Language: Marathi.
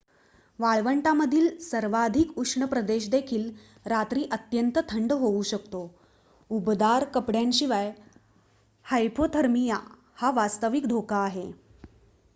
वाळवंटातील सर्वाधिक उष्ण प्रदेश देखील रात्री अत्यंत थंड होऊ शकतो उबदार कपड्यांशिवाय हायपोथर्मिया हा वास्तविक धोका आहे